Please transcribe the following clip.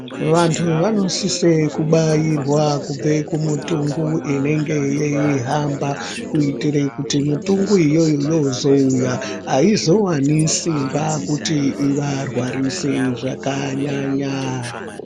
Vantu vanosise kubairwa kubve kumitungu inenge yeihamba kuitire kuti mitungu iyoyo yozouya aizowani simba kuti ivarwarise zvakanyanya.